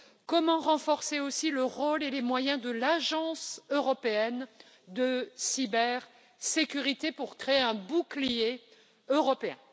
Comment renforcer aussi le rôle et les moyens de l'Agence européenne de cybersécurité pour créer un bouclier européen?